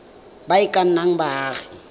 ba e ka nnang baagi